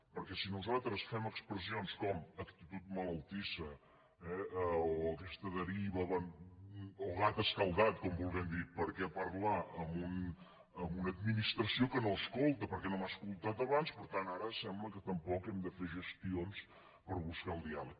perquè si nosaltres fem expressions com actitud malaltissa eh o aquesta deriva o gat escaldat com volent dir per què parlar amb una administració que no m’escolta perquè no m’ha escoltat abans per tant ara sembla que tampoc hem de fer gestions per buscar el diàleg